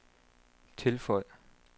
tilføj